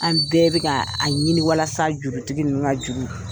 An bɛɛ bɛ ka a ɲini walasa jurutigi ninnu ka juru